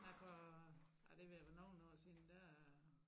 Nej for ej det ved at være noge år siden der